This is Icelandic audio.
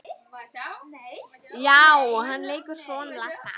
Já, hann leikur son Ladda.